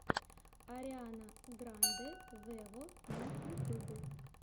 ариана гранде вево на ютубе